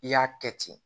I y'a kɛ ten